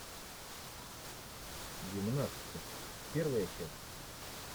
гимнастки первая часть